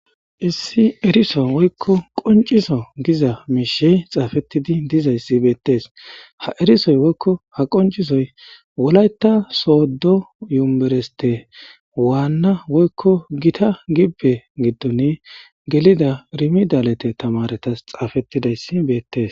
Issi eriso woyko qonc'iso giza mishe xafetidi dizaysi betes ha erisoy woyko ha qonc'isoy wolayta sodo yunbereste wana woyko gita gibe gidoni gelida rimidalete tamaretas xafetidaysi betes.